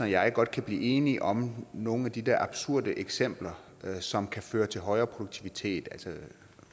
jeg godt kan blive enige om nogle af de der absurde eksempler som kan føre til højere produktivitet altså